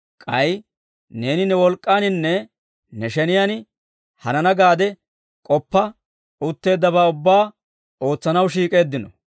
K'ay neeni ne wolk'k'aaninne ne sheniyaan hanana gaade k'oppa utteeddabaa ubbaa ootsanaw shiik'eeddino.